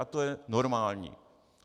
A to je normální.